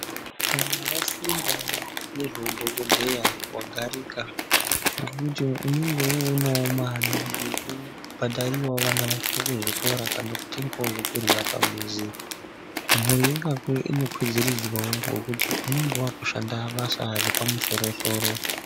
Kana vafunda ngezveudhogodheya vagarika ngekuti unonga voonavo mari yekubhadhariravo vana vako kuzvikora. Kana kutengavo zvekurya pamuzi, mhuri yekwako inokwidziridzwavo ngekuti vanonga vakushanda basa repamusoro-soro.